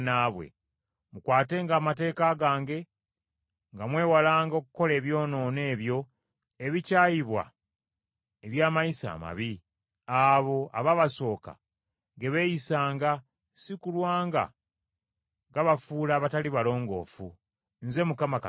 Mukwatenga amateeka gange, nga mwewalanga okukola ebyonoono ebyo ebikyayibwa eby’amayisa amabi, abo abaabasooka ge beeyisanga si kulwa nga gabafuula abatali balongoofu. Nze Mukama Katonda wammwe.’ ”